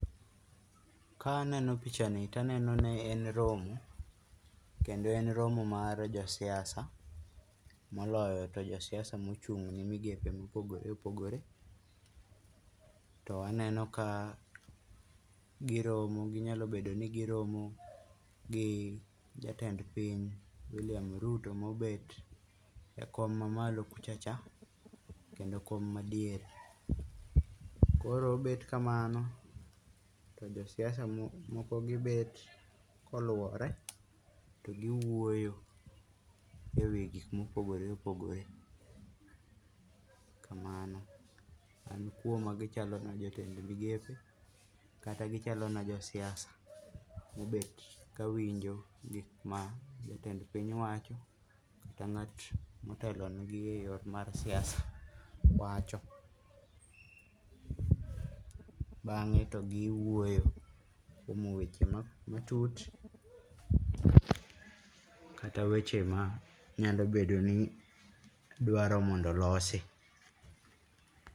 Kaneno picha ni taneno ni en romo, kendo en romo mar josiasa, moloyo to josiasa mochung'ne migepe mopogore opogore to aneno ka giromo, ginyalo bedo ni giromo gi jatend piny William Ruto mobet e kom mamalo kuchocha kendo kom madiere. Koro obet kamano to josiasa moko gibet koluore to giwuoyo ewi gik mopogore opogore. Kamano. Koro magi chalona jotend migepe kata gichalona josiasa mobet kawinjo gik ma jatend piny wacho kata ng'at motelonegi e yore mag siasa wacho. Bang'e to giwuoyo kuom weche matut kata manyalo bedo ni dwaro mondo olosi.